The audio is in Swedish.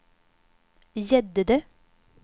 Gäddede